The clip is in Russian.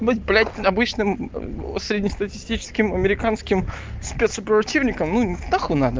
быть блять обычным среднестатистическим американским спец противником нахуй надо